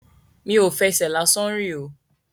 Mi ò fẹsẹ̀ lásán rìn o.